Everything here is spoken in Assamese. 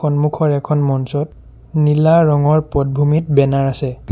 সন্মুখৰ এখন মঞ্চত নীলা ৰঙৰ পটভূমিত বেনাৰ আছে।